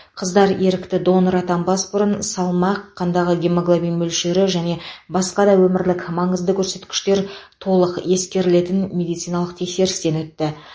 қыздар ерікті донор атанбас бұрын салмақ қандағы гемоглобин мөлшері және басқа да өмірлік маңызды көрсеткішкер толық ескерілетін медициналық тексерістен өтті